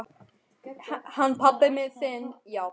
Hann pabbi þinn, já.